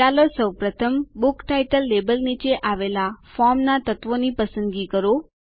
ચાલો સૌપ્રથમ book title label નીચે આવેલા ફોર્મના તત્વોની પસંદગી કરો